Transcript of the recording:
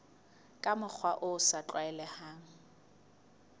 ka mokgwa o sa tlwaelehang